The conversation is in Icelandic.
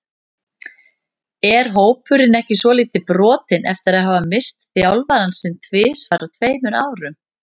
Er hópurinn ekki svolítið brotinn eftir að hafa misst þjálfarann sinn tvisvar á tveimur árum?